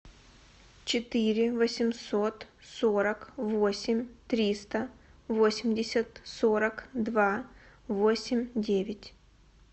четыре восемьсот сорок восемь триста восемьдесят сорок два восемь девять